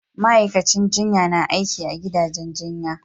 Ma'aikacin jinya na aiki a gidajen jinya